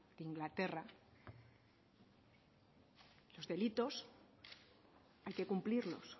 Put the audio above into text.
inglaterra los delitos hay que cumplirlos